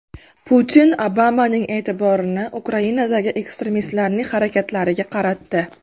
Putin Obamaning e’tiborini Ukrainadagi ekstremistlarning harakatlariga qaratdi.